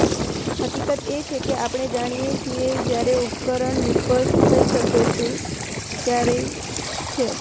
હકીકત એ છે કે આપણે જાણીએ છીએ જ્યારે ઉપકરણ નિષ્ફળ થઈ શકે છે ક્યારેય છે